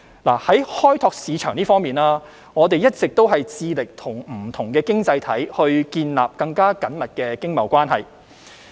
在開拓市場方面，我們一直致力與不同的經濟體建立更緊密經貿關係。